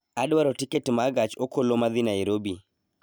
Adwaro tiket ma gach okoloma dhi Nairobi